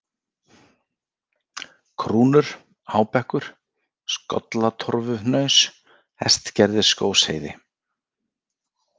Krúnur, Hábekkur, Skollatorfuhnaus, Hestgerðisskógsheiði